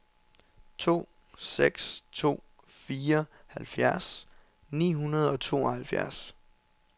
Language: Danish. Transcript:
to seks to fire halvfjerds ni hundrede og tooghalvfjerds